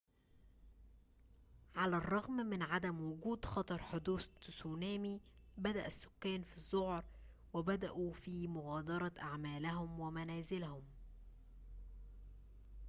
على الرغم من عدم وجود خطر حدوث تسونامي بدأ السكان في الذعر وبدأوا في مغادرة أعمالهم و منازلهم